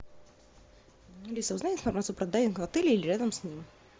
алиса узнай информацию про дайвинг в отеле или рядом с ним